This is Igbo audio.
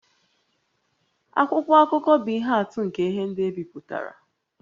Akwụkwọ akụkọ bụ ihe atụ nke ihe ndị e bipụtara